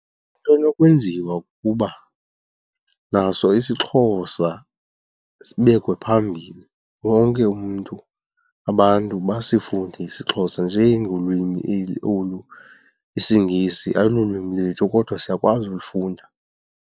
Into enokwenziwa kukuba naso isiXhosa sibekwe phambili, wonke umntu abantu basifunde isiXhosa, njengolwimi olu isiNgesi ayilolwimi lwethu kodwa siyakwazi ulifunda.